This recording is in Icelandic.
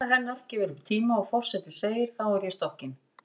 Nafna hennar gefur upp tíma og forseti segir: Þá er ég stokkin